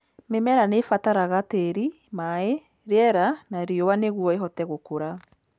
Mĩmera nĩ ĩbataraga tĩĩri, maĩ, rĩera na riũa nĩguo ĩhote gũkũra